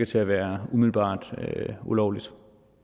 til at være ulovligt